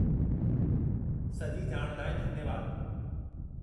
सॼी ॼाण लाइ धन्यवादु।